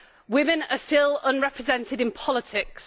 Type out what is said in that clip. women are still under represented in politics.